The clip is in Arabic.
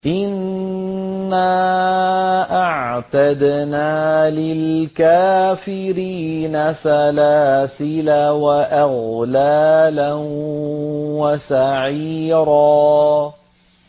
إِنَّا أَعْتَدْنَا لِلْكَافِرِينَ سَلَاسِلَ وَأَغْلَالًا وَسَعِيرًا